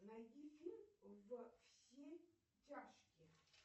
найди фильм во все тяжкие